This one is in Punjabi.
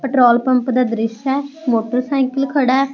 ਪੈਟਰੋਲ ਪੰਪ ਦਾ ਦ੍ਰਿਸ਼ ਆ ਮੋਟਰਸਾਇਕਲ ਖੜਾ ਹੈ।